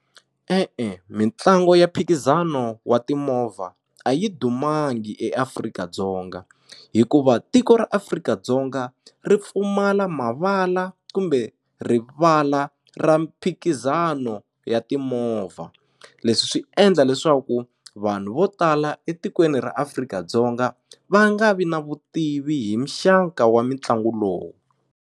E-e mitlangu ya mphikizano wa timovha a yi dumanga eAfrika-Dzonga hikuva tiko ra Afrika-Dzonga ri pfumala mavala kumbe rivala ra mphikizano ya timovha leswi swi endla leswaku vanhu vo tala etikweni ra Afrika-Dzonga va nga vi na vutivi hi mixaka wa mitlangu lowu.